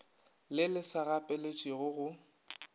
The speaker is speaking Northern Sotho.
le le sa gapeletšegego go